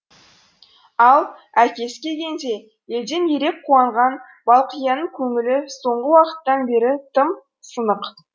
ал әкесі келгенде елден ерек қуанған балқияның көңілі соңғы уақыттан бері тым сынық